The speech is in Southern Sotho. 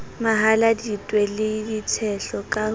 mahaladitwe le ditshehlo ka ho